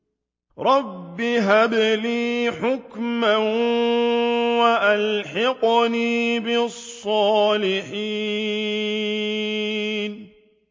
رَبِّ هَبْ لِي حُكْمًا وَأَلْحِقْنِي بِالصَّالِحِينَ